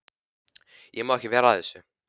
Ég má ekki vera að þessu.